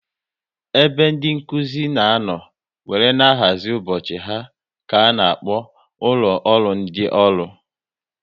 Ebe ndị Nkụzi na anọ wéré na-ahazi ụbọchị ha ka a na-akpọ ụlọ ọrụ ndị ọrụ